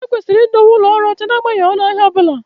Ekwesịrị idowe ụlọ ọrụ ọcha n'agbanyeghị ọnụ ahịa ọ bụla